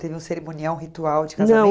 Teve um cerimonial, um ritual de